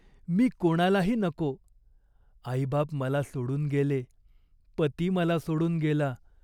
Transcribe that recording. मी कोणालाही नको. आईबाप मला सोडून गेले, पती मला सोडून गेला.